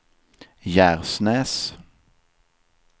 Gärsnäs